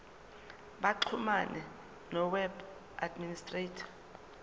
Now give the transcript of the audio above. baxhumane noweb administrator